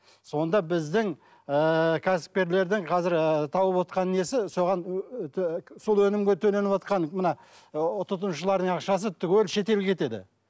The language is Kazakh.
сонда біздің ыыы кәсіпкерлердің қазір тауывотқан і несі соған сол өнімге төленіватқан мына тұтынушылардың ақшасы түгел шетелге кетеді